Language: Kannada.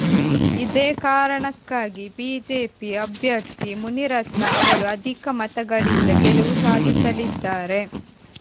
ಇದೇ ಕಾರಣಕ್ಕೆ ಬಿಜೆಪಿ ಅಭ್ಯರ್ಥಿ ಮುನಿರತ್ನ ಅವರು ಅಧಿಕ ಮತಗಳಿಂದ ಗೆಲುವು ಸಾಧಿಸಲಿದ್ದಾರೆ